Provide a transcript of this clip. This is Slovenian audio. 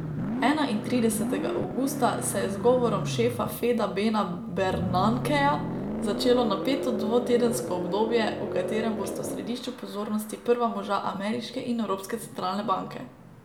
Enaintridesetega avgusta se je z govorom šefa Feda Bena Bernankeja začelo napeto dvotedensko obdobje, v katerem bosta v središču pozornosti prva moža ameriške in evropske centralne banke.